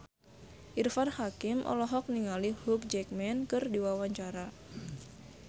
Irfan Hakim olohok ningali Hugh Jackman keur diwawancara